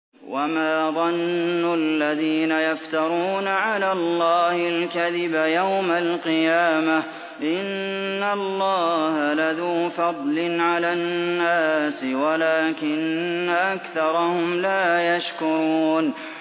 وَمَا ظَنُّ الَّذِينَ يَفْتَرُونَ عَلَى اللَّهِ الْكَذِبَ يَوْمَ الْقِيَامَةِ ۗ إِنَّ اللَّهَ لَذُو فَضْلٍ عَلَى النَّاسِ وَلَٰكِنَّ أَكْثَرَهُمْ لَا يَشْكُرُونَ